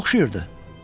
Nəyə oxşayırdı?